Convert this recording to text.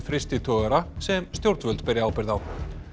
frystitogara sem stjórnvöld beri ábyrgð á